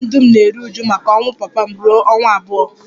Ezinụlọ m dum na-eru uju maka ọnwụ papa m ruo ọnwa abụọ